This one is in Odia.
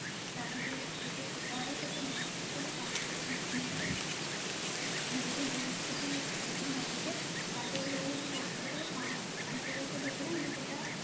ତାର ଯାଉ ରହୁଛି ସୁଧହାର ସେଇଟା ପାଞ୍ଚବର୍ଷ ମଧ୍ୟରେ ରହୁଛି ଯଦି ଦୁଇ କୋଟି ସୁଧ ନଉଛେ ତା ଦେହରେ ରହୁଛି ବର୍ଷକର ପାଁ ପାଞ୍ଚ ବର୍ଷ ଭିତରେ ଆମେ ସେଇଟା